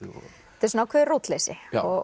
þetta er svona ákveðið rótleysi